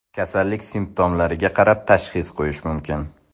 Kasallik simptomlariga qarab tashxis qo‘yish mumkin.